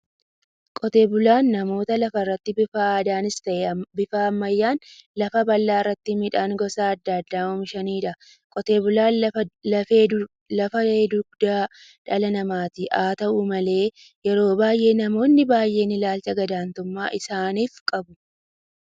Qotee bulaan namoota lafarratti bifa aadaanis ta'ee bifa ammayyaan lafa bal'aa irratti midhaan gosa adda addaa oomishaniidha. Qotee bulaan lafa dugdaa dhala namaati. Haata'u malee yeroo baay'ee namoonni baay'een ilaalcha gad-aantummaa isaanif qabu.